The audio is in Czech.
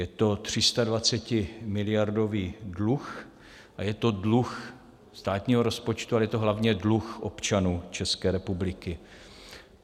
Je to 320miliardový dluh a je to dluh státního rozpočtu, ale je to hlavně dluh občanů České republiky.